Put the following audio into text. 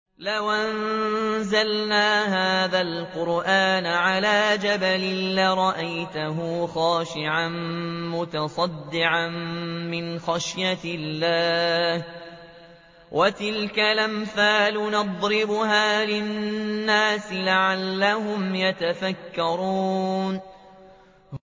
لَوْ أَنزَلْنَا هَٰذَا الْقُرْآنَ عَلَىٰ جَبَلٍ لَّرَأَيْتَهُ خَاشِعًا مُّتَصَدِّعًا مِّنْ خَشْيَةِ اللَّهِ ۚ وَتِلْكَ الْأَمْثَالُ نَضْرِبُهَا لِلنَّاسِ لَعَلَّهُمْ يَتَفَكَّرُونَ